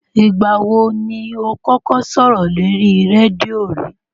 Ìgbà wo ni o kọ́kọ́ sọ̀rọ̀ lórí rédíò rí?